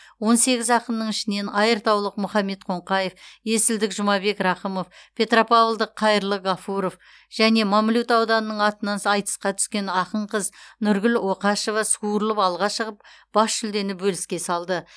он сегіз ақынның ішінен айыртаулық мұхаммед қоңқаев есілдік жұмабек рақымов петропавлдық қайырлы ғафуров және мамлют ауданының атынан айтысқа түскен ақын қыз нұргүл оқашева суырылып алға шығып бас жүлдені бөліске салды